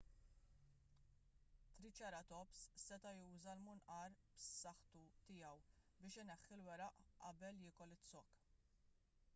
triċeratops seta' juża l-munqar b'saħħtu tiegħu biex ineħħi l-weraq qabel jiekol iz-zokk